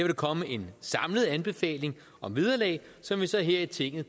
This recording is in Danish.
der komme en samlet anbefaling om vederlag som vi så her i tinget